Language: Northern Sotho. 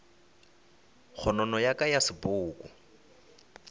kgonono ya ka ya sepoko